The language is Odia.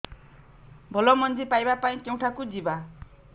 ଭଲ ମଞ୍ଜି ପାଇବା ପାଇଁ କେଉଁଠାକୁ ଯିବା